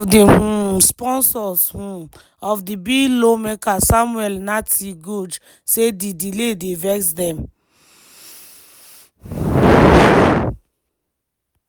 one of di um sponsors um of di bill lawmaker samuel nartey george say di delay dey vex dem.